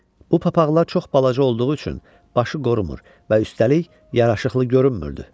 Bu papaqlar çox balaca olduğu üçün başı qorumur və üstəlik yaraşıqlı görünmürdü.